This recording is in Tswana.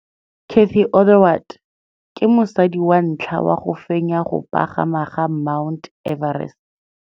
Cathy Odowd ke mosadi wa ntlha wa go fenya go pagama ga Mt Everest.